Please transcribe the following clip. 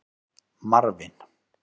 Marvin